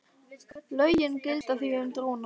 Lögin gilda því um dróna.